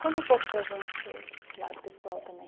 Conta um pouco para a gente desse lado pessoal também.